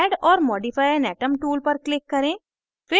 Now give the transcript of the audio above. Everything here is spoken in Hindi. add or modify an atom tool पर click करें